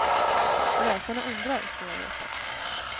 Läsarna undrar, får jag veta.